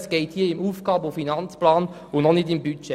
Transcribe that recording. Es geht hier um den AFP und noch nicht um das Budget.